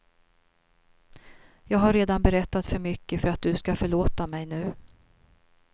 Jag har redan berättat för mycket för att du ska förlåta mig nu.